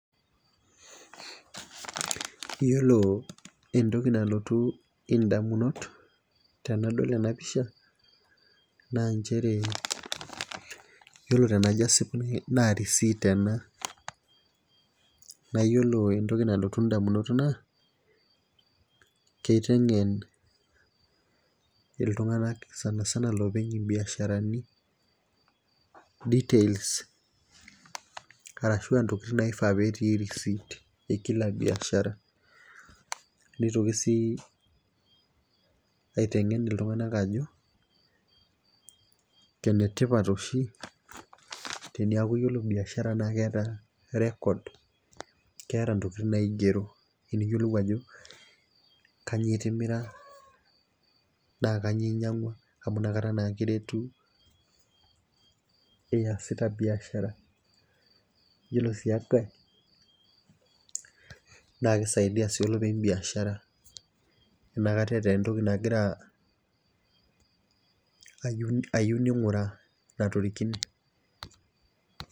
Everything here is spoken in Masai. Iyiolo entoki nalotu idamunot tenadol ena pisha, naa nchere iyiolo tenajo asipu naa receipt ena naa iyiolo entoki nalotu damunot naa kiteng'en iltunganak sanisana loopik ibiasharani, details arashu ntokitin naifaa petii receipt e Kila biashara, neitoki sii aitengen iltunganak ajo ene tipat oshi teneeku ore biashara naa keeta record keeta ntokitin naigero , teniyiolou ajo kainyioo itimira, naa kainyioo inyiang'ua amu inakata naa kiretu iyasita biashara, iyiolo sii enkae naa kisaidia sii olepeny biashara ata eeta entoki nayieu ning'uraa natorikine.